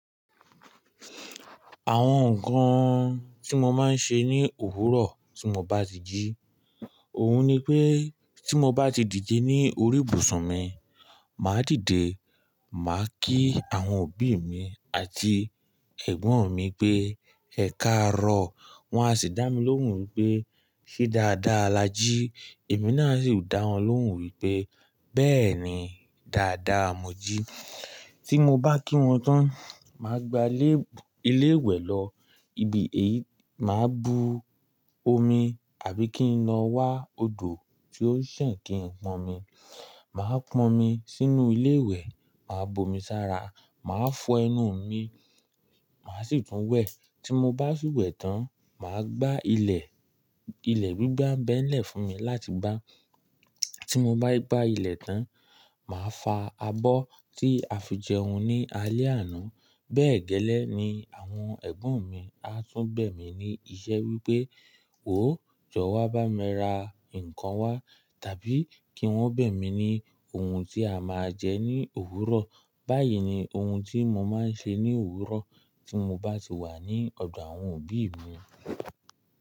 Àwọn nkan tí mo máa ń ṣe ní òwúrọ̀ tí mo bá ti jí. Òhun ni pé tí mo bá ti dìde ní orí ìbùsùn mi, màá dìde, màá kí àwọn òbí mi àti ẹ̀gbọ́n mi pé "Ẹ kàárọ̀". Wọn a sì dá mi lóhùn wípé "Ṣé dáadáa la jí?" Èmi náà sì dá wọn lóhùn wípé "Bẹ́ẹ̀ni, dáadáa n mọ jí". Tí mo bá kí wọn tán, màá gba ilé, ilé ìwẹ̀ lọ, ibi èyí, mà á bu omi àbí kí n lọ wá odò tí ó n ṣan kin pọnmi. Màá pọnmi sínú ilé ìwẹ̀, màá bu omi sára, màá fọ ẹnu mi, màá sì tún wẹ̀. Tí mo bá ṣi wẹ̀ tán, màá gbá ilẹ̀. Ilẹ̀ gbígbà ń bẹ̀ n lẹ̀ fún mi láti gbá. Tí mo bá gbá ilẹ̀ tán, màá fa abọ́ tí a fi jẹun ní alẹ́ àná. Bẹ́ẹ̀ gẹ́lẹ́ ni àwọn ẹ̀gbọ́n mi á tún bẹ̀ mí ní iṣẹ́ wípé "wò, jọ wá bá mi ra ǹkan wá" tàbí kí wọ́n bẹ̀ mí ní ohun tí a máa jẹ ní òwúrọ̀. Báyìí ni ohun tí mo máa ń ṣe ní òwúrọ̀ tí mo bá ti wà ní ọ̀dọ̀ àwọn òbí mi.